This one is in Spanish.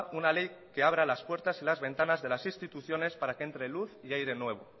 una ley que abra las puertas y las ventanas de las instituciones para que entre luz y aire nuevo